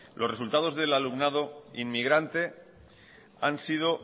los resultados del alumnado inmigrante han sido